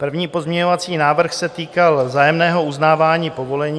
První pozměňovací návrh se týkal vzájemného uznávání povolení.